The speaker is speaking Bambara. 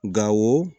Gawo